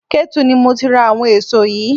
Ketu ni mo ti ra àwọn èso yìí.